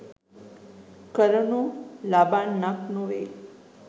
කරනු ලබන්නක් නොවේ.